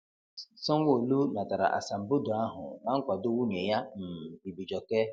Sanwo-Olu natara asambodo ahụ na nkwado nwunye ya, um Ibijoke.